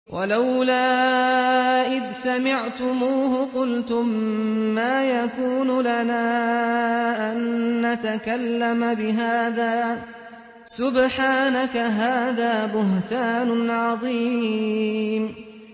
وَلَوْلَا إِذْ سَمِعْتُمُوهُ قُلْتُم مَّا يَكُونُ لَنَا أَن نَّتَكَلَّمَ بِهَٰذَا سُبْحَانَكَ هَٰذَا بُهْتَانٌ عَظِيمٌ